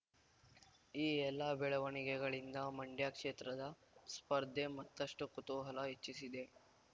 ಈ ಎಲ್ಲ ಬೆಳವಣಿಗೆಗಳಿಂದ ಮಂಡ್ಯ ಕ್ಷೇತ್ರದ ಸ್ಪರ್ಧೆ ಮತ್ತಷ್ಟು ಕುತೂಹಲ ಹೆಚ್ಚಿಸಿದೆ